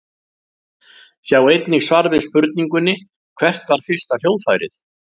Sjá einnig svar við spurningunni Hvert var fyrsta hljóðfærið?